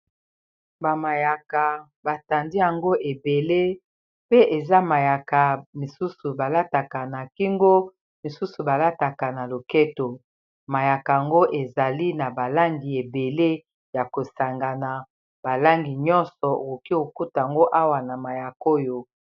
bamayaka batandi yango ebele pe eza mayaka misusu balataka na kingo misusu balataka na loketo mayaka yango ezali na balangi ebele ya kosanga na balangi nyonso okoki kokota yango awa na mayaka oyo